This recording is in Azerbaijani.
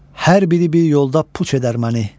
Hər biri bir yolda puç edər məni.